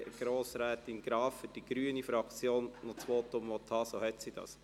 Falls Grossrätin Graf für die grüne Fraktion noch sprechen möchte, kann sie das.